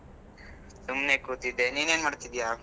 ಸುಮ್ಮನೆ ಕೂತಿದ್ದೆ. ನಿನ್ ಏನ್ ಮಾಡ್ತಿದ್ಯಾ?